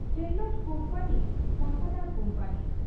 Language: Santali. ᱴᱷᱮᱨᱞᱟᱴ ᱠᱩᱢᱯᱟᱹᱱᱤᱴᱟᱠᱟᱫᱟᱨ ᱠᱩᱢᱯᱟᱹᱱᱤ ᱾